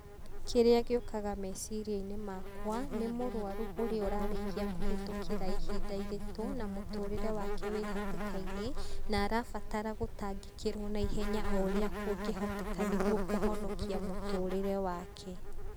Kĩrĩa gĩukaga meciriaini makwa, nĩ mũrũaru ũrĩa ũrarĩkia kũhetũkĩra ihinda iritu, na mũtũrire wake wĩhatĩka-ini, na arabatara gũtangĩkĩrwo na ihenya ũrĩa kungĩhotekana nĩguo kũhonokia mũtũrĩre wake.